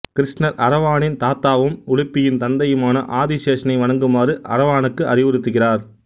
கிருஷ்ணர் அரவானின் தாத்தாவும் உலுப்பியின் தந்தையுமான ஆதிசேஷனை வணங்குமாறு அரவானுக்கு அறிவுறுத்துகிறார்